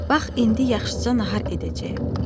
Bax indi yaxşıca nahar edəcəyəm.